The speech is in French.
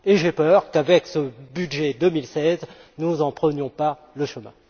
J'ai peur qu'avec ce budget 2016 nous n'en prenions pas le chemin.